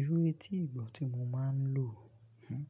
Irú etígbọ́ tí mo máa ń lò, hmh,